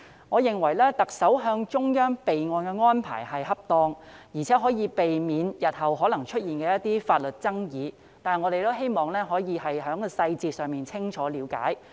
我認為特首向中央備案的安排是恰當的，而且可以避免日後可能出現的法律爭議，但我們也希望可以清楚了解有關細節。